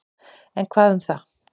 En hvað um það.